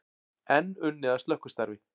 Enn unnið að slökkvistarfi